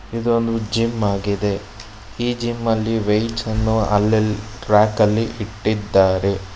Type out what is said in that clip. ಇದೊಂದು ಜಿಮ್ ಆಗಿದೆ ಈ ಜಿಮ್ ಅಲ್ಲಿ ವೇಟ್ಸ್ ಅನ್ನು ಅಲ್ಲಲ್ಲಿ ಟ್ರ್ಯಾಕ್ ಅಲ್ಲಿ ಇಟ್ಟಿದ್ದಾರೆ.